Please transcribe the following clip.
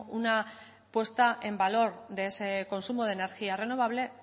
una puesta en valor de ese consumo de energía renovable